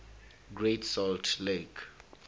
great salt lake